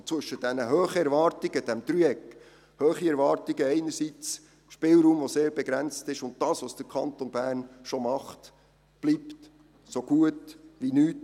In dem Dreieck aus hohen Erwartungen, begrenztem Spielraum und dem, was der Kanton Bern tut, bleibt so gut wie nichts.